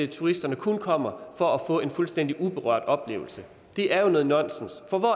turisterne kun kommer for at få en fuldstændig uberørt oplevelse det er jo noget nonsens for hvor